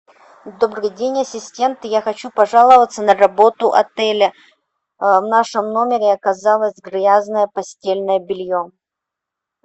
добрый день ассистент я хочу пожаловаться на работу отеля в нашем номере оказалось грязное постельное белье